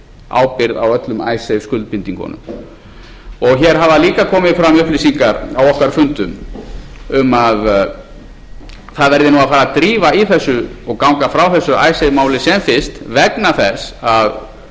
ábyrgð á öllum icesave skuldbindingunum hér hafa líka komið fram upplýsingar á okkar fundum um að það verði að fara að drífa í þessu og ganga frá þessu icesave máli sem fyrst vegna þess að